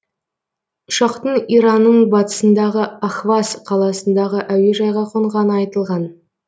ұшақтың иранның батысындағы ахваз қаласындағы әуежайға қонғаны айтылған